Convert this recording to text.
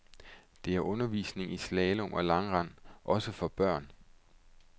Der er undervisning i slalom og langrend, også for børn.